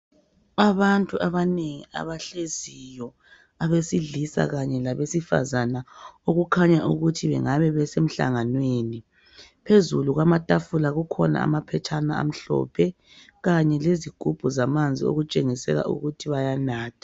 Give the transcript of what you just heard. Abantu abanengi abahleziyo abesidlisa Kanye labesifazana okukhanya ukuthi bengabe besemhlanganenwi , phezulu kwamatafula kukhona amaphetshana amhlophe Kanye lezigubhu zamanzi okutshengisela ukuthi bayanatha.